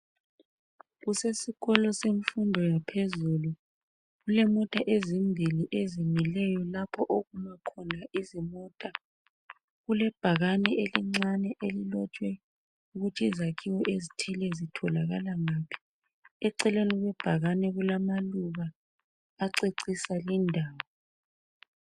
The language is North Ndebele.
Kusesikolo semfundo yaphezulu. Kulemota ezimbili ezimileyo lapho okuma khona izimota. Kulebhakane elincane elilotshwe ukuthi izakhiwo ezithile zitholakala ngaphi. Eceleni kwebhakane kulamaluba acecisa lindawo.